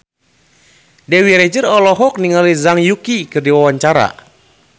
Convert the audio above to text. Dewi Rezer olohok ningali Zhang Yuqi keur diwawancara